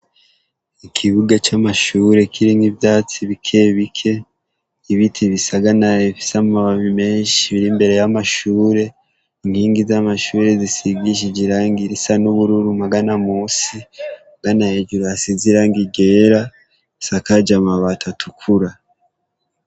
Ikibuga c'amashure kirimw'ivyatsi bikebike n'ibiti bisanagaye, bifise amababi menshi biri imbere y'amashure, inkingi z'amashure zisigije irangi risiga n'ubururur magana musi ugana hejuru hasize irangi ryera risakajwe amabati atukura.